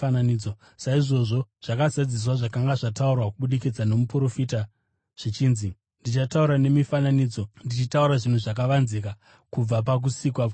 Saizvozvo zvakazadziswa zvakanga zvataurwa kubudikidza nomuprofita zvichinzi: “Ndichataura nemifananidzo, ndichataura zvinhu zvakavanzika kubva pakusikwa kwenyika.”